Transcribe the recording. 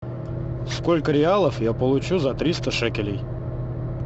сколько реалов я получу за триста шекелей